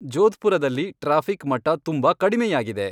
ಜೋಧ್ಪುರದಲ್ಲಿ traffic ಮಟ್ಟ ತುಂಬಾ ಕಡಿಮೆಯಾಗಿದೆ